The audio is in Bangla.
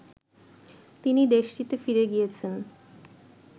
তিনি দেশটিতে ফিরে গিয়েছেন